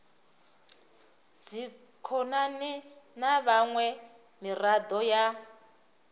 dzikhonani na miṅwe miraḓo ya